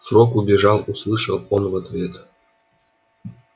фрог убежал услышал он в ответ